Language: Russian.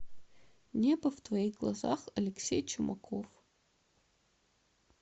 небо в твоих глазах алексей чумаков